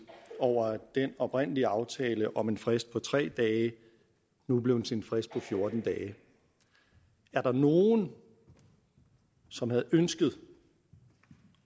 over at den oprindelige aftale om en frist på tre dage nu er blevet til en frist på fjorten dage var der nogen som havde ønsket